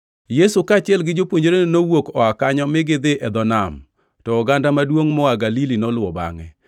Yesu kaachiel gi jopuonjrene nowuok oa kanyo mi gidhi e dho nam, to oganda maduongʼ moa Galili noluwo bangʼe.